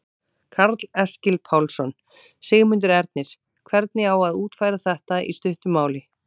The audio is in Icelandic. Karl Eskil Pálsson: Sigmundur Ernir, hvernig á að útfæra þetta í stuttu máli?